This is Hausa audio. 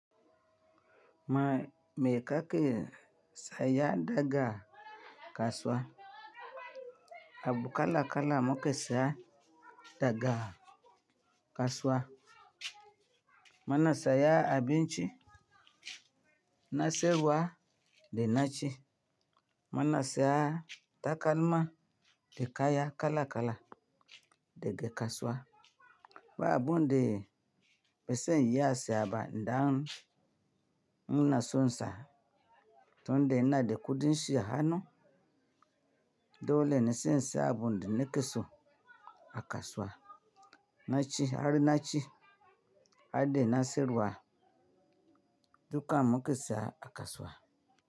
Ma me kake saya daga kasuwa? Abu kala kala muke saya daga kasuwa. Muna siya abinci, na siyarwa da naci. Muna siya takalma da kaya kala kala daga kasuwa. Ba abun da ba sai iya siya ba idan inaso in sa mmm muna son in sa, tun da ina da kuɗin shi a hanu, dolene sai in siya abun da na ki so a kasuwa. Naci har naci har da na siyarwa, dukan muke siya a kasuwa.